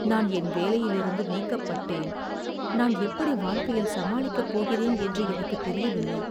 நான் என் வேலையிலிருந்து நீக்கப்பட்டேன், நான் எப்படி வாழ்க்கையில் சமாளிக்கப் போகிறேன் என்று எனக்குத் தெரியவில்லை.